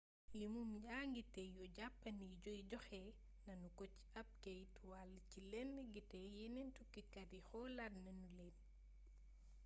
limum njaatige yu jàppandi yi joxe nanu ko ci ab keyt wal ci lëndd gi te yeneen tukkikat yi xoolaat nanu leen